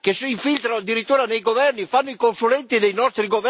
Volete libera circolazione per tutti, ma non per i cacciatori.